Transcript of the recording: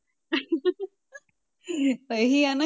ਤਾਂ ਇਹ ਹੀ ਹੈ ਨਾ।